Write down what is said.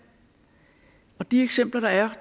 og de eksempler der er